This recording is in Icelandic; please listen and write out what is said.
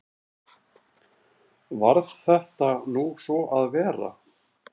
Varð þetta nú svo að vera.